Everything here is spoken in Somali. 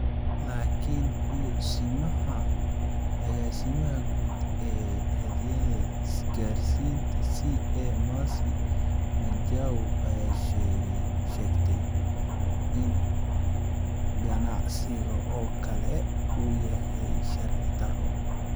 Laakin ku simaha agaasimaha guud ee Hay’adda Isgaarsiinta (CA) Mercy Wanjau ayaa sheegtay in ganacsigan oo kale uu yahay sharci darro.